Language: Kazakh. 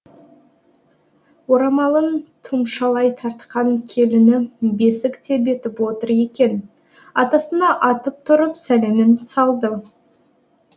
орамалын тұмшалай тартқан келіні бесік тербетіп отыр екен атасына атып тұрып сәлемін салды